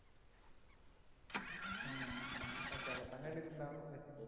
ആ ചെലപ്പോ കണ്ടിട്ടുണ്ടാവും